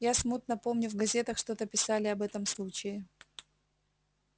я смутно помню в газетах что-то писали об этом случае